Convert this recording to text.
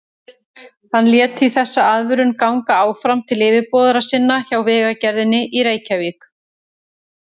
Hann lét því þessa aðvörun ganga áfram til yfirboðara sinna hjá Vegagerðinni í Reykjavík.